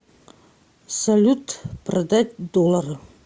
салют продать доллары